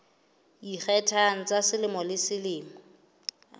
ikgethang tsa selemo le selemo